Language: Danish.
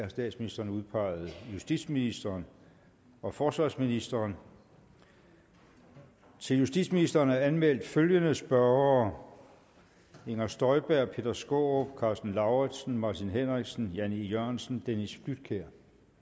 har statsministeren udpeget justitsministeren og forsvarsministeren til justitsministeren er der anmeldt følgende spørgere inger støjberg peter skaarup karsten lauritzen martin henriksen jan e jørgensen dennis flydtkjær